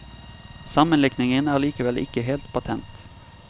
Sammenlikningen er likevel ikke helt patent.